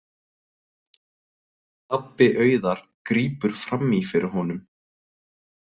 Pabbi Auðar grípur fram í fyrir honum.